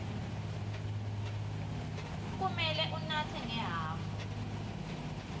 kumele unatse ngehhafu